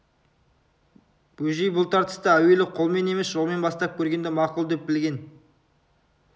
бөжей бұл тартысты әуелі қолмен емес жолмен бастап көргенді мақұл деп білген